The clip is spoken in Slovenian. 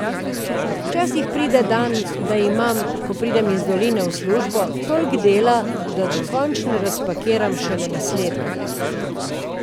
Včasih pride dan, da imam, ko pridem iz doline v službo, toliko dela, da dokončno razpakiram šele naslednji dan.